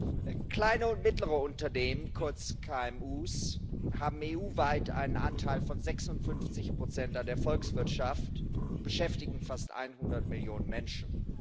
Herr Präsident! Kleine und mittlere Unternehmen, kurz KMU, haben EU weit einen Anteil von 56 an der Volkswirtschaft und beschäftigen fast 100 Millionen Menschen.